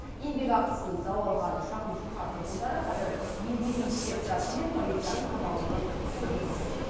еңбекақысын дау алған шағын шаһар тұрғындары қазір еңбек инспекциясы мен полицияның табалдырығын тоздырып жүр